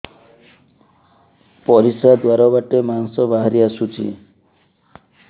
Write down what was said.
ପରିଶ୍ରା ଦ୍ୱାର ବାଟେ ମାଂସ ବାହାରି ଆସୁଛି